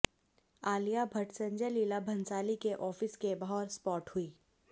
आलिया भट्ट संजय लीला भंसाली के ऑफिस के बाहर स्पॉट हुईं